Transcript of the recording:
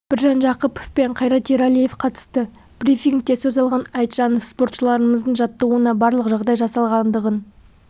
біржан жақыпов пен қайрат ералиев қатысты брифингте сөз алған айтжанов спортшыларымыздың жаттығуына барлық жағдай жасалғандығын